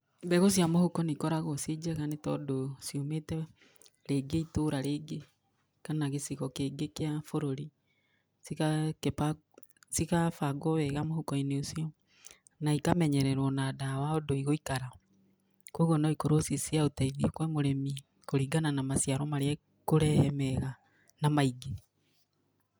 Mbegũ cia mũhuko nĩ ikoragwo irĩ njega nĩ tondũ ciumĩte itũra rĩngĩ kana gĩcigo kĩngĩ kĩa bũrũri. Cigabangwo wega mũhuko-inĩ ũcio na ikamenyererwo na ndawa ũndũ igũikara. Koguo no ikorwo ci cia ũteithio kũrĩ mũrĩmi kũringana na maciaro marĩa ikũrehe mega na maingĩ.